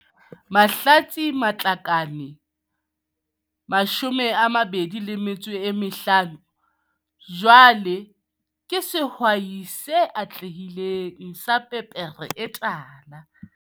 Mahlatse Matlakane 20 jwale ke sehwai se atlehileng sa pepere e tala.